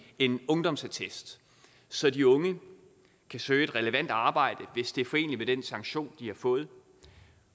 en ungdomsattest så de unge kan søge et relevant arbejde hvis det er foreneligt med den sanktion de har fået